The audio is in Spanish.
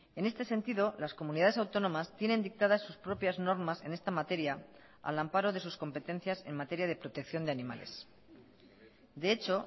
en este sentido las comunidades autónomas tienen dictadas sus propias normas en esta materia al amparo de sus competencias en materia de protección de animales de hecho